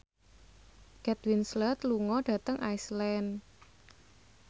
Kate Winslet lunga dhateng Iceland